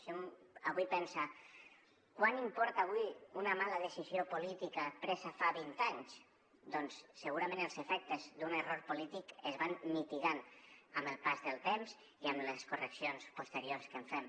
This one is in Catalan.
si un avui pensa quant importa avui una mala decisió política presa fa vint anys doncs segurament els efectes d’un error polític es van mitigant amb el pas del temps i amb les correccions posteriors que en fem